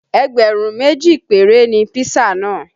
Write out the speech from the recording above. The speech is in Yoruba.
Ẹgbẹ̀rún méjì péré ni pisa náà